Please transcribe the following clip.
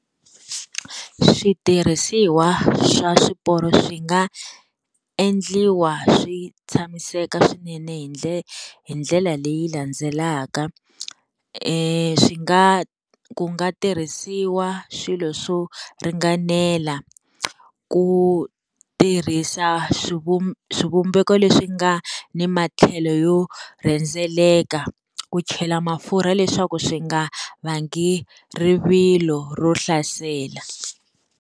Switirhisiwa swa swiporo swi nga endliwa swi tshamiseka swinene hi hi ndlela leyi landzelaka. Swi nga ku nga tirhisiwa swilo swo ringanela, ku tirhisa swivumbeko leswi nga ni matlhelo yo rhendzeleka, ku chela mafurha leswaku swi nga vangi rivilo ro hlasela.